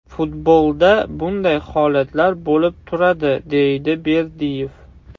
Futbolda bunday holatlar bo‘lib turadi”, deydi Berdiyev.